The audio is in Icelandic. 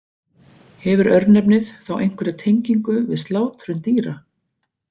Hefur örnefnið þá einhverja tengingu við slátrun dýra?